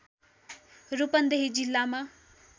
रूपन्देही जिल्लामा